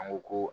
An ko ko